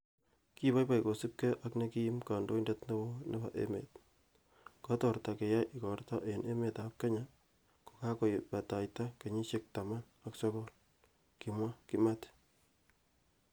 'Kiboiboi kosiibge ak ne kiim kandoindet neo nebo emet, kotorta keyai igortoo en emetab kenya ko kakobaitata kenyisiek taman ak sogol,''kimwa Kimathi